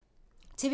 TV 2